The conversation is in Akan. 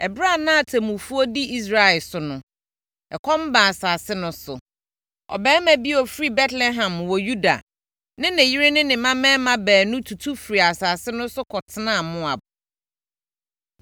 Ɛberɛ a na atemmufoɔ di Israel so no, ɛkɔm baa asase no so. Ɔbarima bi a ɔfiri Betlehem wɔ Yuda ne ne yere ne ne mmammarima baanu tutu firii asase no so kɔtenaa Moab.